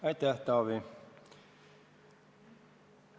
Aitäh, Taavi!